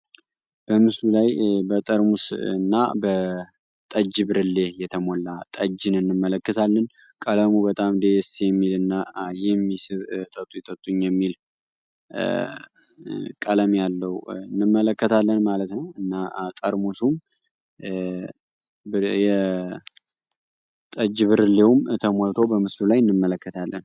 በጠርሙስ እና በጠጅ ብርሌ የተሞላ ጠጅ ነን እንመለከታለን ቀለሙ በጣም ደስ የሚል እና ቀለም ያለው እንመለከታለን ማለት ነው እና ቀድሞ ጠጅ ብርሌም ሞልቶ በምስሉ ላይ እንመለከታለን